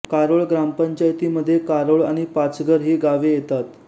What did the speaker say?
कारोळ ग्रामपंचायतीमध्ये कारोळ आणि पाचघर ही गावे येतात